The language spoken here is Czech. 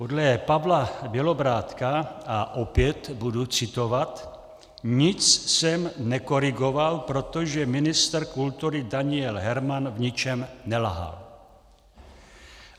Podle Pavla Bělobrádka - a opět budu citovat: "Nic jsem nekorigoval, protože ministr kultury Daniel Herman v ničem nelhal."